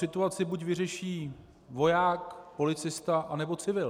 Situaci buď vyřeší voják, policista, anebo civil.